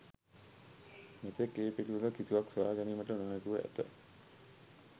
මෙතෙක් ඒ පිළිබඳව කිසිවක් සොයාගැනීමට නොහැකිව ඇත.